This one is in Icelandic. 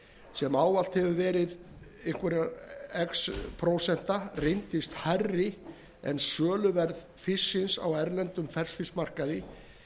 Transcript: sem ávallt hefur verið einhver x prósenta reyndist hærri en söluverð fisksins á erlendum ferskfiskmarkaði